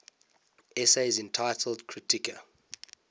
essays entitled kritika